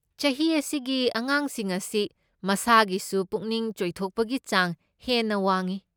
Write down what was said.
ꯆꯍꯤ ꯑꯁꯤꯒꯤ ꯑꯉꯥꯡꯁꯤꯡ ꯑꯁꯤ ꯃꯁꯥꯒꯤꯁꯨ ꯄꯨꯛꯅꯤꯡ ꯆꯣꯏꯊꯄꯣꯛꯄꯒꯤ ꯆꯥꯡ ꯍꯦꯟꯅ ꯋꯥꯡꯢ꯫